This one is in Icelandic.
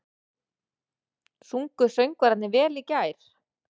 Sungu söngvararnir vel í gær?